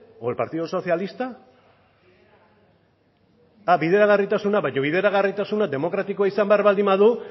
o el partido socialista bideragarritasuna baina bideragarritasuna demokratikoa izan behar badu